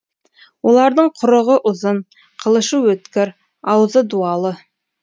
олардың құрығы ұзын қылышы өткір аузы дуалы